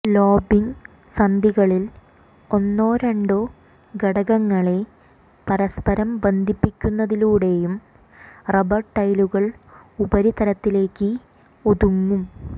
lobbying സന്ധികളിൽ ഒന്നോ രണ്ടോ ഘടകങ്ങളെ പരസ്പരം ബന്ധിപ്പിക്കുന്നതിലൂടെയും റബ്ബർ ടൈലുകൾ ഉപരിതലത്തിലേക്ക് ഒതുങ്ങും